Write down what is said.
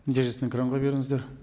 нәтижесін экранға беріңіздер